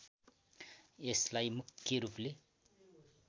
यसलाई मुख्य रूपले